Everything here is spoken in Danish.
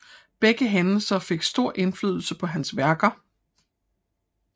Begge hændelser fik stor indflydelse på hans værker